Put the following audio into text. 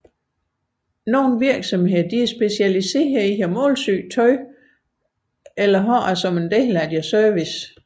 Nogle virksomheder er specialiseret i at målsy tøj eller har det som en del af deres service